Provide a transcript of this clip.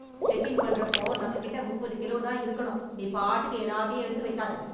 check in பண்ற அப்போ நம்ம கிட்ட முப்பது கிலோ தா இருக்கனும் நீ பாட்டுக்கு எல்லாத்தையும் எடுத்து வைக்காத